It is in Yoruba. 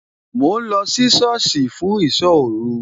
Mò ń lọ sí sọ́ọ̀sì fún ìsọ́ òru